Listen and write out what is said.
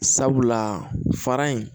Sabula fara in